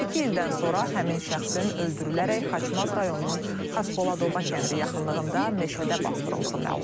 İki ildən sonra həmin şəxsin öldürülərək Xaçmaz rayonunun Xaspoladoba kəndi yaxınlığında meşədə basdırıldığı məlum olub.